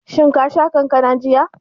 Shin ka sha kankanan jiya?